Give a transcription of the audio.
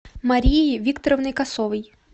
марией викторовной косовой